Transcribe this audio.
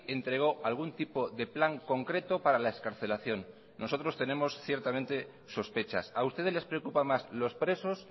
entregó algún tipo de plan concreto para la excarcelación nosotros tenemos ciertamente sospechas a ustedes les preocupa más los presos